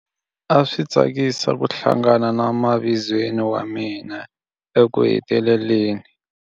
A swi tsakisa ku hlangana na mavizweni wa mina ekuheteleleni.